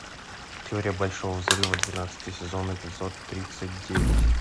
теория большого взрыва двенадцатый сезон эпизод тридцать девять